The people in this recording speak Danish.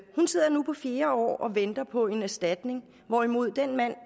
hun sidder nu på fjerde år og venter på en erstatning hvorimod den mand